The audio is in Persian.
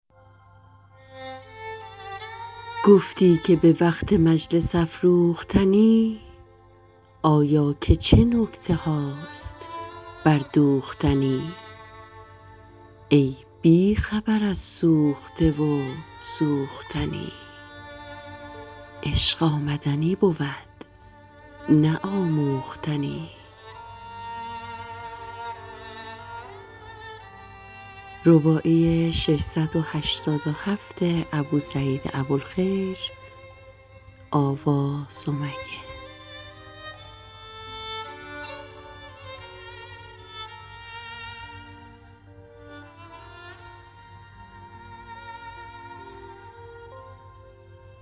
گفتی که به وقت مجلس افروختنی آیا که چه نکتهاست بردوختنی ای بی خبر از سوخته و سوختنی عشق آمدنی بود نه آموختنی